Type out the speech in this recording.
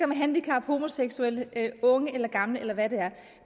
med handicap homoseksuelle unge eller gamle eller hvad det er